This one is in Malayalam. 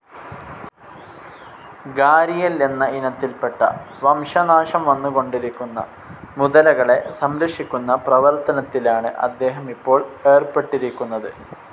ഗാരിയൽ എന്ന ഇനത്തിൽപ്പെട്ട, വംശനാശം വന്നു കൊണ്ടിരിക്കുന്ന മുതലകളെ സംരക്ഷിക്കുന്ന പ്രവർത്തനത്തിലാണ് അദ്ദേഹം ഇപ്പോൾ ഏർപ്പെട്ടിരിക്കുന്നത്.